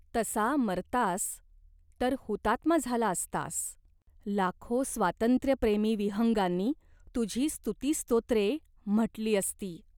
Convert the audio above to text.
तसा मरतास, तर हुतात्मा झाला असतास. लाखो स्वातंत्र्यप्रेमी विहंगांनी तुझी स्तुतिस्तोत्रे म्हटली असती.